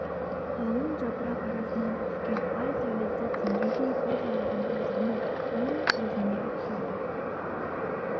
қалың жапырақ арасынан түскен ай сәулесі теңгедей бір жарығын тоғжанның он көзіне түсірді